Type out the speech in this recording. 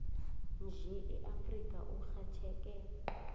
nje eafrika urhatjheke